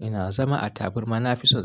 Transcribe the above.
Ina zama a taburma. Na fi son zama a.